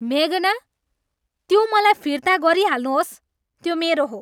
मेघना, त्यो मलाई फिर्ता गरिहाल्नुहोस्। त्यो मेरो हो!